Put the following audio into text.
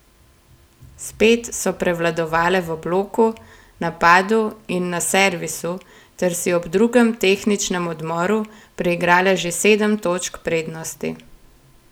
Spet so prevladovale v bloku, napadu in na servisu ter si ob drugem tehničnem odmoru priigrale že sedem točk prednosti.